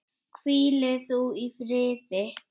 Hvíli þú í friði.